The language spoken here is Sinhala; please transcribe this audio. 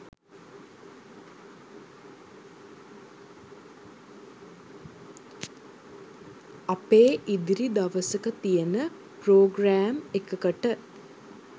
අපේ ඉදිරි දවසක තියෙන ප්‍රෝග්‍රෑම් එකකට